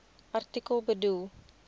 artikel bedoel